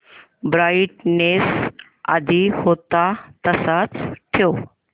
brightness आधी होता तसाच ठेव